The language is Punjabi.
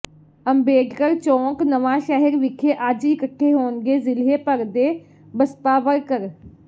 ਅੰਬੇਡਕਰ ਚੌਕ ਨਵਾਂਸ਼ਹਿਰ ਵਿਖੇ ਅੱਜ ਇਕੱਠੇ ਹੋਣਗੇ ਜ਼ਿਲੇ੍ਹ ਭਰ ਦੇ ਬਸਪਾ ਵਰਕਰ